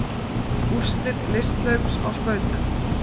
Úrslit listhlaups á skautum